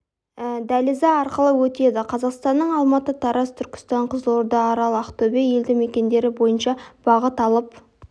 дәлізі арқылы өтеді қазақстанның алматы тараз түркістан қызылорда арал ақтөбе елді мекендері бойынша бағыт алып